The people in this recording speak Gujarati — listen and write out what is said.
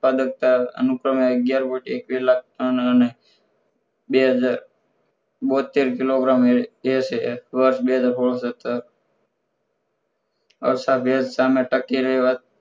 ઉત્પાદકતા અનુક્રમે અગિયાર point એક્વિસ લાખ ટન અને બે હજાર બોત્તેર કિલોગ્રામ approax બે હજાર સોડ સતર